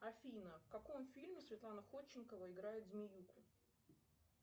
афина в каком фильме светлана ходченкова играет змеюку